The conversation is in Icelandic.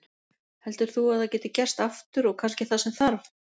Heldur þú að það gæti gerst aftur og kannski það sem þarf?